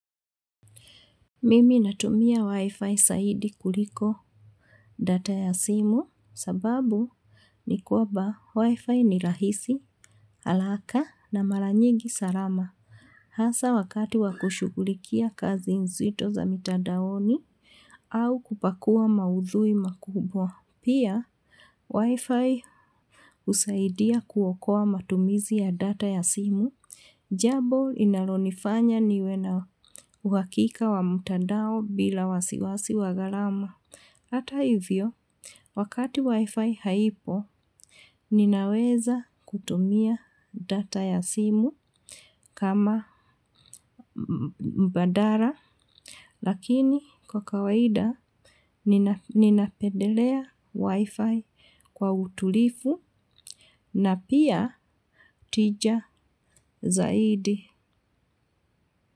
Mimi natumia wifi zaidi kuliko data ya simu sababu ni kwamba wifi ni rahisi, haraka na mara nyingi salama hasa wakati wa kushughulikia kazi nzito za mitadaoni au kupakua maudhui makubwa. Pia, wifi husaidia kuokoa matumizi ya data ya simu, jambo inalonifanya niwe na uhakika wa mtandao bila wasiwasi wa gharama. Hata hivyo, wakati wifi haipo, ninaweza kutumia data ya simu. Kama mbadala, lakini kwa kawaida ninapendelea wifi kwa utulivu na pia tija zaidi.